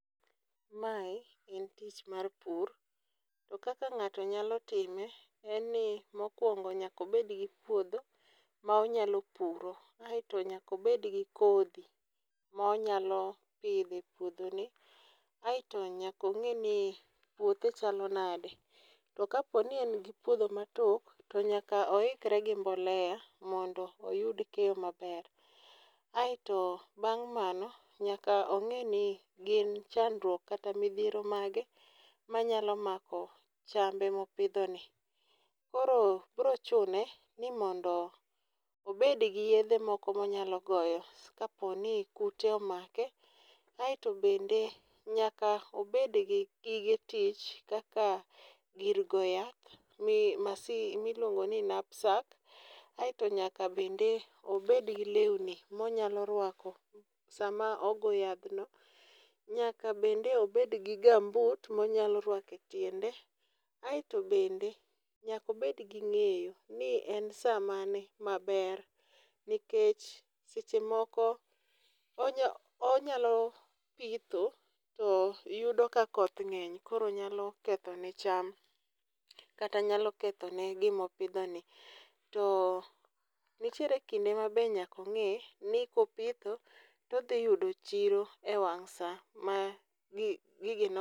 Mae en tich mar pur. To kaka ng'ato nyalo time, en ni mokwongo nyaka obed gi puodho ma onyalo puro. Aeto nyaka obed gi kodhi ma onyalo pidho e puodhoni. Aeto nyaka ong'e ni puothe chalo nade. To ka po ni en gi puodho matok, to nyaka oikore gi mbolea mondo oyud keyo maber. Aeto bang' mano nyaka ong'i ni gin chandruok kata midhiero mage manyalo mako chame ma opidhoni. Koro biro chune ni mondo obedi gi yiedhe moko ma onyalo goyo ka po ni kute omake. Aeto bende nyaka obed gi gige tich kaka gir goyo yath ma iluongo ni knapsack. Aeto nyaka bende obed gi lewni ma onyalo rwako sama ogo yath no. Nyaka bende obed gi gum boot ma onyalo rwako e tiende. Aeto bende nyaka obed gi ng'eyo ni en sa mane maber, nikech seche moko, onya, onyalo pitho, to yudo ka koth ng'eth koro nyalo ketho ne cham. Kata nyalo kethone gima opidhoni. To nitiere kinde ma be nyaka ong'e ni kopitho, to odhi yudo chiro e wang' sa, ma